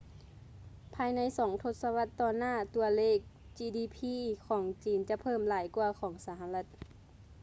ພາຍໃນສອງທົດສະວັດຕໍ່ໜ້າ ຕົວເລກ ຈີດີພີ gdp ຂອງຈີນ ຈະເພີ່ມຫຼາຍກວ່າຂອງສະຫະລັດ